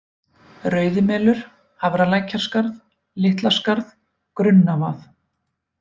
Rauðimelur, Hafralækjarskarð, Litlaskarð, Grunnavað